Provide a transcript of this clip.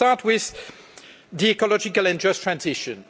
Let me start with the ecological and just transition.